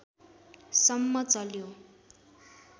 सम्म चल्यो